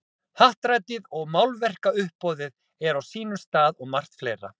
Happdrættið og málverkauppboðið er á sínum stað og margt fleira.